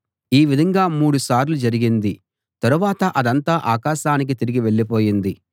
ఈ విధంగా మూడుసార్లు జరిగింది తరువాత అదంతా ఆకాశానికి తిరిగి వెళ్ళిపోయింది